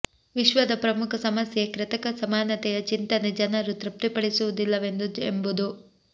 ವಿಶ್ವದ ಪ್ರಮುಖ ಸಮಸ್ಯೆ ಕೃತಕ ಸಮಾನತೆಯ ಚಿಂತನೆ ಜನರು ತೃಪ್ತಿಪಡಿಸುವುದಿಲ್ಲವೆಂದು ಎಂಬುದು